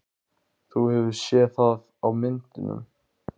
Þú hefur séð það á myndum.